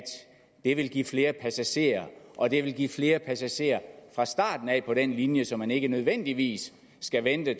det vil give flere passagerer og det vil give flere passagerer fra starten af på den linje så man ikke nødvendigvis skal vente